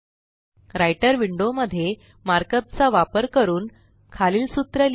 writer window मध्ये markup चा वापर करून खालील सूत्र लिहा